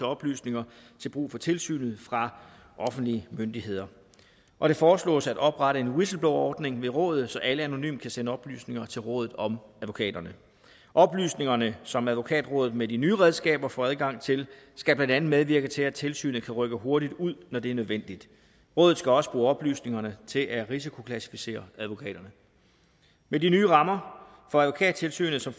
oplysninger til brug for tilsynet fra offentlige myndigheder og det foreslås at oprette en whistleblowerordning ved rådet så alle anonymt kan sende oplysninger til rådet om advokaterne oplysningerne som advokatrådet med de nye redskaber får adgang til skal blandt andet medvirke til at tilsynet kan rykke hurtigt ud når det er nødvendigt rådet skal også bruge oplysningerne til at risikoklassificere advokaterne med de nye rammer for advokattilsynet som